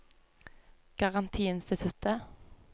garantiinstituttet